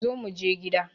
Zo muje gida